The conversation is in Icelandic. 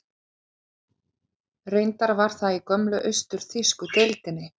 Reyndar var það í gömlu austur-þýsku deildinni.